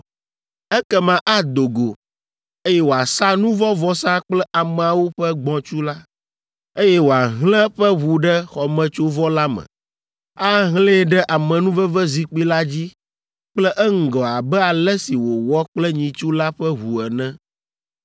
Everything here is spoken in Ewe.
“Ekema ado go, eye wòasa nu vɔ̃ vɔsa kple ameawo ƒe gbɔ̃tsu la, eye wòahlẽ eƒe ʋu ɖe xɔmetsovɔ la me, ahlẽe ɖe amenuvevezikpui la dzi kple eŋgɔ abe ale si wòwɔ kple nyitsu la ƒe ʋu ene.